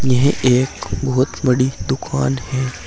ये एक बहुत बड़ी दुकान है।